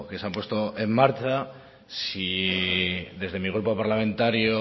se han puesto en marcha si desde mi grupo parlamentario